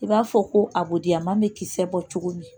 I b'a fɔ ko a boden bɛ kisɛ bɔ cogo min